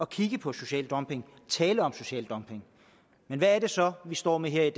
kigge på social dumping tale om social dumping men hvad er det så vi står med her i